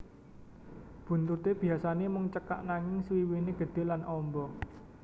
Buntuté biyasané mung cekak nanging swiwiné gedhe lan amba